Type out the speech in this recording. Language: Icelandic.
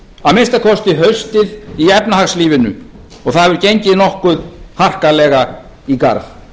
að minnsta kosti haustið í efnahagslífinu og það hefur gengið nokkuð harkalega í garð